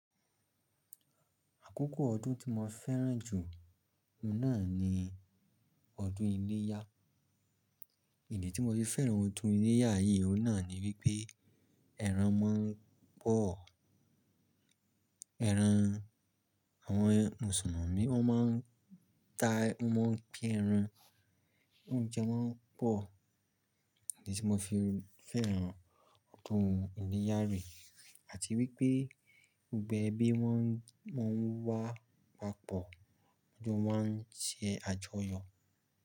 Àkókò ọdún tí mo fẹ́ràn jù, náà ni ọdún iléyá. Ìdí tí mo fi fẹ́ràn ọdún iléyá yìí, ó náà ni wípé ẹran má ń pọ̀. Ẹran, àwọn mùsùlùmí wọn má ń ta, wọ́n má ń pín ẹran. Oúnjẹ má ń pọ̀. Ìdí tí mo fi fẹ́ràn ọdún iléyá re. Àti wípé gbogbo ẹbí wọ́n, wọ́n ń wá papọ̀. Ọdún má ń ṣe àjọyọ̀.